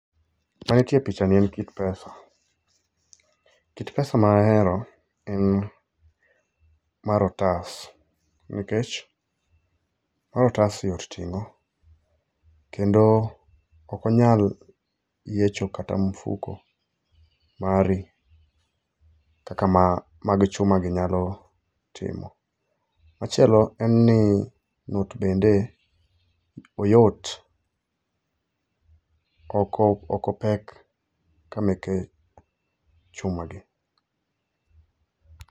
Mantie pichani en kit pesa. Kit pesa ma ahero en mar otas nikech mar otas yot tingo kendo ok onyal yiecho kata mfuko mari kaka ma mag ,ma chuma gi nyalo timo. Machielo en ni not bende oyot, ok opek ka meke chuma gi